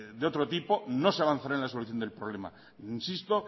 de otro tipo no se avanza en la solución del problema insisto